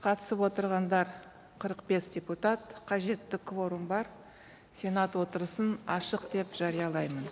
қатысып отырғандар қырық бес депутат қажетті кворум бар сенат отырысын ашық деп жариялаймын